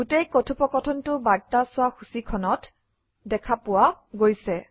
গোটেই কথোপকথনটো বাৰ্তা চোৱা সূচীখনত দেখা পোৱা গৈছে